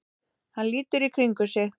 Hann lítur í kringum sig.